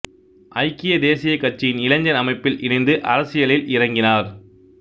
ஐக்கிய தேசியக் கட்சியின் இளைஞர் அமைப்பில் இணைந்து அரசியலில் இறங்கினார்